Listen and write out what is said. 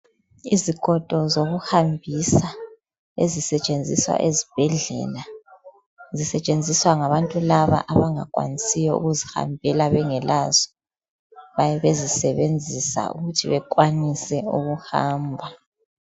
Izigodo zokuhambisa esisentshenziswa esibhedlela. Zisetsheswa ngabantu laba abangakwanisiyo ukuzihambela bengekazo. Bayabe bezisebenzisa ukuthibe kwanise ukuhamba